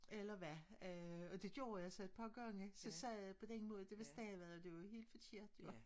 Eller hvad øh og det gjorde jeg så et par gange så sagde jeg det på den måde det var stadig det lød helt forkert jo